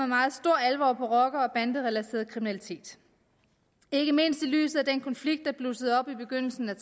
meget stor alvor på rocker og banderelateret kriminalitet ikke mindst i lyset af den konflikt der blussede op i begyndelsen af